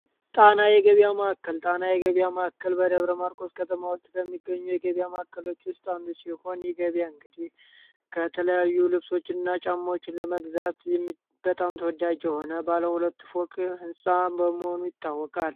ጣና የገቢያ ማካከል ጣና የገቢያ ማካከል በደብረ ማርቆ ውስጥ ከተማ ውስጥ ከሚገኙ የገቢያ ማካከሎች ውስጥ አንዱስ ሲሆን ገቢያ እንግዲህ ከተለያዩ ልብሶች እና ጫማዎችን ለመግዛት በጣም ተወዳያጅ ሆነ ባለ ሁለት ፎቅ ሕንፃ በመሆኑ ይታወቃል።